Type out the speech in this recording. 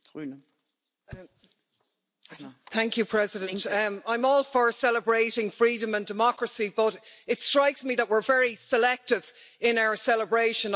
Madam President, I'm all for celebrating freedom and democracy but it strikes me that we're very selective in our celebration.